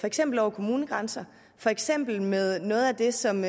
eksempel over kommunegrænser for eksempel med noget af det som